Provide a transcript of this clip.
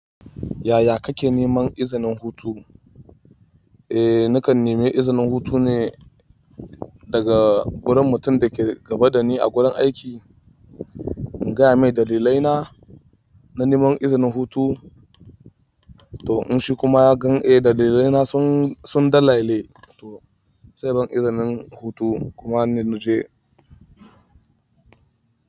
Yaya kake neman izinin hutu? Eh nakan nemi izinin hutu ne daga wurin mutum da ke gaba da ni a gurin aiki. In gaya mai dalilai na na neman izinin hutu. To in shi kuma ya gan eh dalilai na sun dalaile. To sai ban izinin hutu kuma na nuje.